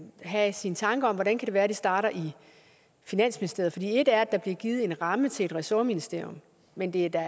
have sine tanker om hvordan kan det være det starter i finansministeriet et er der bliver givet en ramme til et ressortministerium men det er da